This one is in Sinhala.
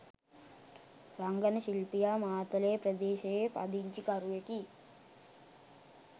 රංගන ශිල්පියා මාතලේ ප්‍රදේශයේ පදිංචිකරුවෙකි.